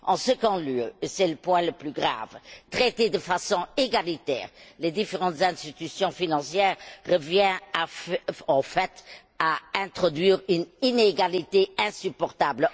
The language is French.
En second lieu et c'est le point le plus grave traiter de façon égalitaire les différentes institutions financières revient, en fait, à introduire une inégalité insupportable.